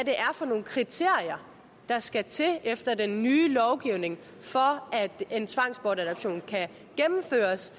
for nogle kriterier der skal til efter den nye lovgivning for at en tvangsbortadoption kan gennemføres